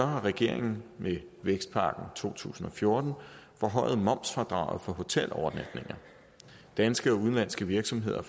har regeringen med vækstpakke to tusind og fjorten forhøjet momsfradraget på hotelovernatninger danske og udenlandske virksomheder